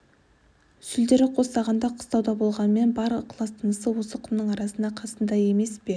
сүлдері қостағанда қыстауда болғанмен бар ықлас-тынысы осы құмның арасында қасында емес пе